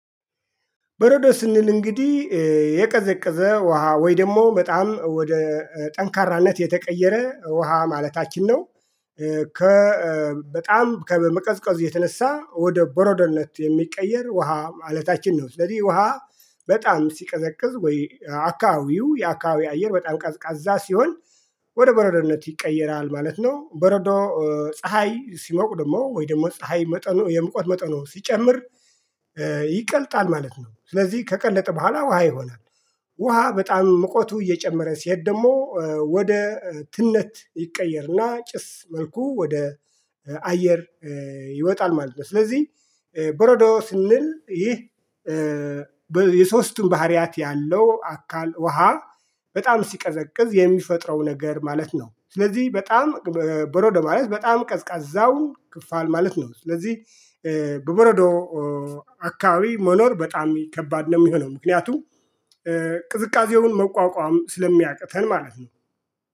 በረዶ ስንል እንግዲህ የቀዘቀዘ ውሃ ወይ ደግሞ በጣም ወደ ጠንካራነት የተቀየረ ውሃ ማለታችን ነው። ከ በጣም ከመቀዝቀዝ የተነሳ ወደ ቦሮዶነት የሚቀየር ውሃ ማለታችን ነው። ስለዚህ ውሃ በጣም ሲቀዘቅዝ ወይ አካባቢው የአካባቢ አየር በጣም ቀዝቃዛ ሲሆን ወደ በረዶነት ይቀየራል ማለት ነው። በረዶ ፀሀይ ሲሞቅ ደግሞ ወይ ደግሞ ፀሀይ መጠኑ የሙቀት መጠኑ ሲጨምር ይቀልጣል ማለት ነው። ስለዚህ ከቀለጠ በኋላ ውሃ ይሆናል። ውሃ በጣም ሙቀቱ እየጨመረ ሲሄድ ደግሞ ወደ ትነት ይቀየርና ጭስ መልኩ ወደ አየር ይወጣል ማለት ነው። ስለዚህ በረዶ ስንል ይህ የሶስቱን ባህሪያት ያለው አካል ውሃ በጣም ሲቀዘቅዝ የሚፈጥረው ነገር ማለት ነው። ስለዚህ በጣም በሮዶ ማለት በጣም ቀዝቃዛውን ክፋል ማለት ነው። ስለዚህ በበረዶ አካባቢ መኖር በጣም ከባድ ነው። የሚሆነው ምክንያቱም ቅዝቃዜውን መቋቋም ስለሚያቅተን ማለት ነው